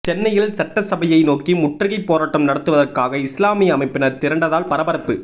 சென்னையில் சட்டசபையை நோக்கி முற்றுகைப் போராட்டம் நடத்துவதற்காக இஸ்லாமிய அமைப்பினர் திரண்டதால் பரபரப்பு